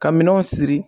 Ka minɛnw siri